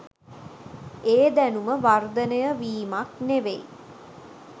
ඒ දැනුම වර්ධනය වීමක් නෙවෙයි